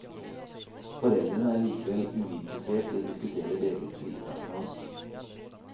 Foreldrene er likevel uinteressert i å diskutere delvis fritak med oss.